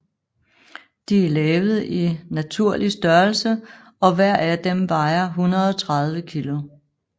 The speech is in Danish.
De lavet i naturlig størrelse og hver af dem vejer 130 kg